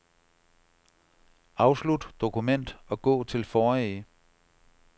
Afslut dokument og gå til forrige.